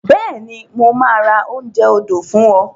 Bẹ́ẹ̀ni, mo máa ra oúnjẹ odò fún ọ.